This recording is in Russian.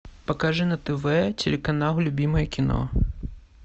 покажи на тв телеканал любимое кино